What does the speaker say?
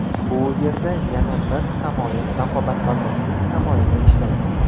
Bu yerda yana bir tamoyil raqobatbardoshlik tamoyili ishlaydi.